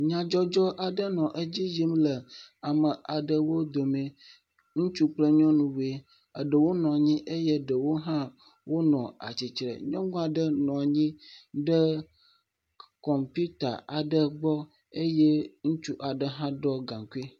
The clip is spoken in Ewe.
Nyadzɔdzɔ aɖe le edzi yim le ame aɖewo dome. Ŋutsu kple nyɔnu woe. Eɖewo nɔ anyi eye ɖewo hã nɔ atsi tre. Nyɔnua ɖe nɔ anyi ɖe kɔmpita aɖe gbɔ eye ŋutsu aɖe hã ɖɔ gaŋkui.